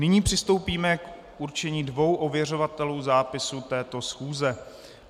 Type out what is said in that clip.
Nyní přistoupíme k určení dvou ověřovatelů zápisu této schůze.